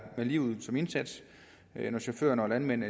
med livet som indsats når chauffører og landmænd